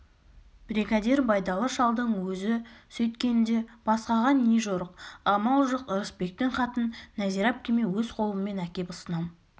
бригадир байдалы шалдың өзі сөйткенде басқаға не жорық амал жоқ ырысбектің хатын нәзира әпкеме өз қолыммен әкеп ұсынам